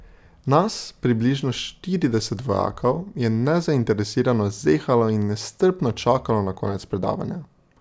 Nas približno štirideset vojakov je nezainteresirano zehalo in nestrpno čakalo na konec predavanja.